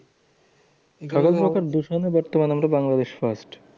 কারণ লোকের দূষণে একটু বাংলাদেশ first.